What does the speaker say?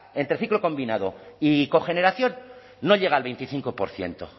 entre ciclo combinado y cogeneración no llega al veinticinco por ciento